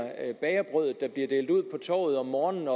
bagerbrødet der bliver delt ud på torvet om morgenen